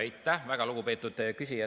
Aitäh, väga lugupeetud küsija!